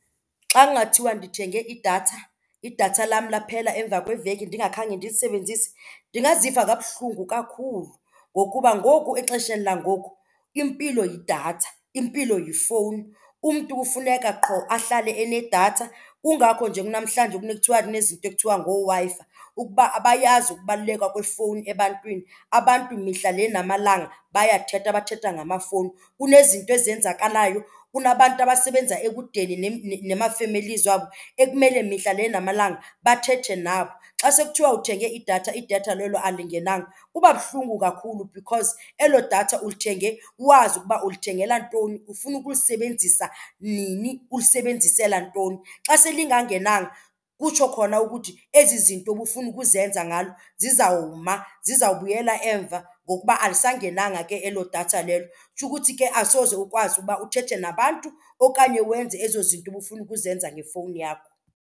Xa kungathiwa ndithenge idatha, idatha lam laphela emva kweveki ndingakhange ndilisebenzise, ndingaziva kabuhlungu kakhulu ngokuba ngoku exesheni langoku impilo yidatha, impilo yifowuni. Umntu ufuneka qho ahlale anedatha. Kungakho nje kunamhlanje kunekuthiwa kunezinto ekuthiwa ngooWi-Fi ukuba abayazi ukubaluleka kwefowuni ebantwini. Abantu mihla le namalanga bayathetha, bathetha ngamafowuni. Kunezinto ezenzakalayo, kunabantu abasebenza ekudeni namafemelizi wabo ekumele mihla le namalanga bathethe nabo. Xa sekuthiwa uthenge idatha idatha lelo alingenanga kuba buhlungu kakhulu because elo datha ulithenge wazi ukuba ulithengela ntoni, ufuna ukulisebenzisa nini, ulisebenzisela ntoni. Xa selingangenanga kutsho khona ukuthi ezi zinto bufuna ukuzenza ngalo zizawuma, zizawubuyela emva ngokuba alisangenanga ke elo datha lelo. Kutsho ukuthi ke asoze ukwazi uba uthethe nabantu okanye wenze ezo zinto ubufuna ukuzenza ngefowuni yakho.